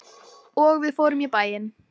Og við fórum í bæinn.